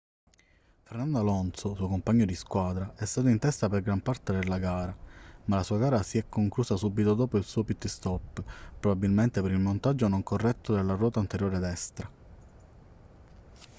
fernando alonso suo compagno di squadra è stato in testa per gran parte della gara ma la sua gara si è conclusa subito dopo il suo pit-stop probabilmente per il montaggio non corretto della ruota anteriore destra